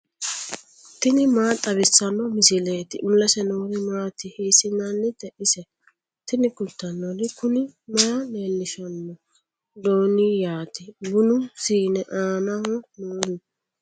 tini maa xawissanno misileeti ? mulese noori maati ? hiissinannite ise ? tini kultannori kuni maa leellishshanno dooniyati bunu siiine aanaho noohu